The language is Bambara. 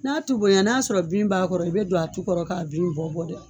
N'a tu bonyɛn n'a sɔrɔ bin b'a kɔrɔ i bɛ don a tu kɔrɔ k'a bin bɔ bɔ dɛ